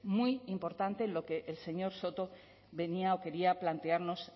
muy importante en lo que el señor soto venía o quería plantearnos